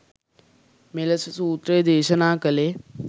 මෙලෙස සූත්‍රය දේශනා කළේ